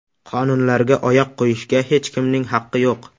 Qonunlarga oyoq qo‘yishga hech kimning haqqi yo‘q.